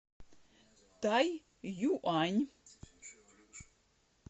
тайюань